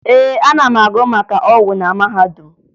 Ee, ana m agụ maka ọgwụ na mahadum